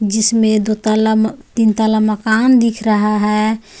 जिसमें दो ताला म तीन ताला मकान दिख रहा है.